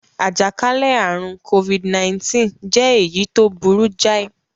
Àjàkálẹ̀ àrùn Covid-19 jẹ́ èyí tó burú jáì.